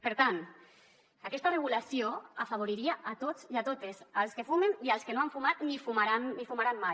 per tant aquesta regulació afavoriria a tots i a totes als que fumen i als que no han fumat ni fumaran mai